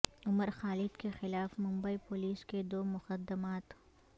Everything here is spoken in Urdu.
عمر خالد کے خلاف ممبئی پولیس کے دو مقدمات